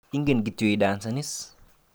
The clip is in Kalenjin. Inget kityo idansan is?